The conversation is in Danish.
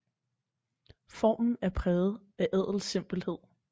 Formen er præget af ædel simpelhed